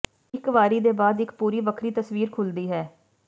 ਇੱਕ ਵਾਰੀ ਦੇ ਬਾਅਦ ਇੱਕ ਪੂਰੀ ਵੱਖਰੀ ਤਸਵੀਰ ਖੁਲ੍ਹਦੀ ਹੈ